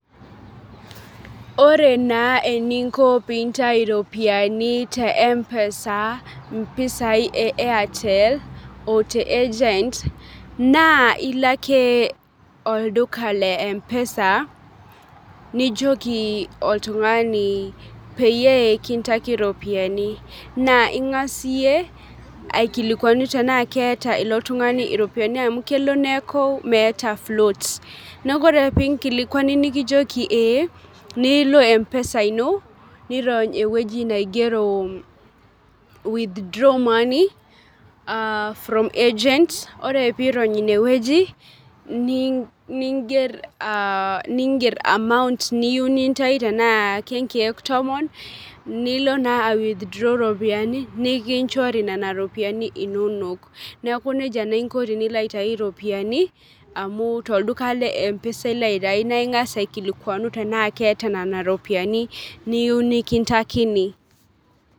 Ore naa eninko pintai iropiani te mpesa mpisai e airtel ote agent naa ilo ake olduka le mpesa nijoki oltung'ani peyie kintaki iropiyiani naa ing'as iyie aikilikuanu tenaa keeta ilo tung'ani iropiyiani amu kelo neeku meeta float neku ore pinkilikuani nikijoki eeh nilo mpesa ino nirony ewueji naigero withdraw money uh from agent ore piirony inewueji nii ningerr uh amount niyieu nintai tenaa kenkek tomon nilo naa ae withdraw iropiani nikinchori nena ropiani inonok neeku nejia naa inko tenilo aitai iropiani amu tolduka le mpesa ilo aitai naa ing'as aikilikuanu tenaa keeta nena ropiani niyu nikintakini.